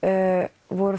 voru